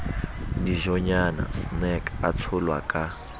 dijonyana snacks a tsholwa ka